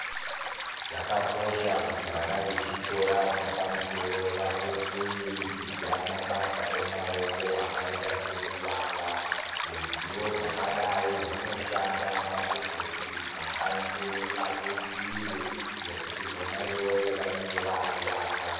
Zvakakosha kuti vana vechikora chapamusoro vapote veidzidzira mabasa emaoko akaita sekuvaka, ruzivo rwakadai rwunoshanda pakuzoti makanyi edu abudirire ngekuti vona ivovo vanenge vakuvaka.